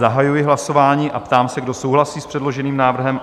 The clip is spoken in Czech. Zahajuji hlasování a ptám se, kdo souhlasí s předloženým návrhem?